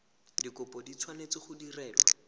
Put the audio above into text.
dikopo di tshwanetse go direlwa